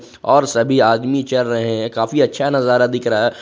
और सभी आदमी चल रहे हैं काफी अच्छा नजारा दिख रहा है।